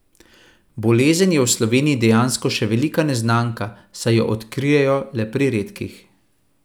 Bolezen je v Sloveniji dejansko še velika neznanka, saj jo odkrijejo le pri redkih.